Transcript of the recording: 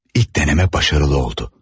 İlk deneme başarılı oldu.